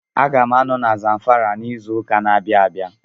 A ga m anọ na Zamfara n'izu ụka na-abịa abịa